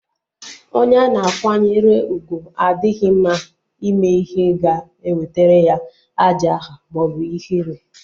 Onye ana akwanyere ugwu adịghị mma ime ihe ga-ewetara ya ajo aha maọbụ ihere